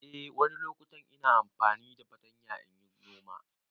Eh wani loƙutan ina amfani da fartanya inyi gona.